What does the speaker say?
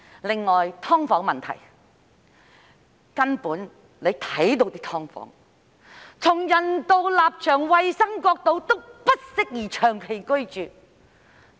另外是"劏房"問題，大家都看到那些"劏房"，從人道立場及衞生角度來看，均不適宜長期居住。